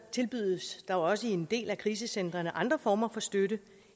tilbydes der også i en del af krisecentrene andre former for støtte